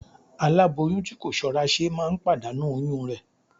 Aláboyún tí kò ṣọ́ra ṣe máa ń pàdánù oyún rẹ̀